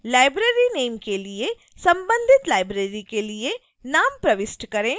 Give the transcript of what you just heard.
libraryname के लिए संबंधित library के लिए नाम प्रविष्ट करें